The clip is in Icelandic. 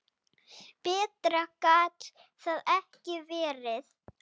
Betra gat það ekki verið.